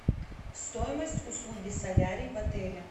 стоимость услуги солярий в отеле